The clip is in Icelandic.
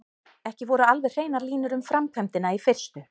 Ekki voru alveg hreinar línur um framkvæmdina í fyrstu.